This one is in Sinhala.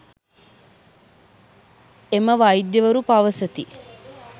එම වෛද්‍යවරු පවසති.